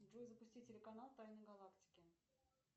джой запусти телеканал тайны галактики